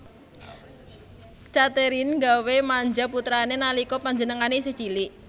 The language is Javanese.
Catherine nggawé manja putrané nalika panjenengané isih cilik